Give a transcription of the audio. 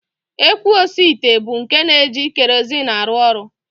Ekwu osiite bụ nke na-eji kerozin arụ ọrụ